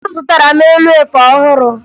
Nne m zụtara m elu efe ọhụrụ